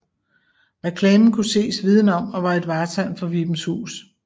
Reklamen kunne ses viden om og var et vartegn for Vibenshus